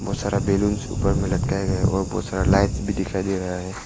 बहुत सारा बैलून ऊपर में लटकाया गया है और बहुत सारा लाइट्स भी दिखाई दे रहा है।